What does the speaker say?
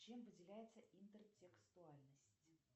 чем выделяется интертекстуальность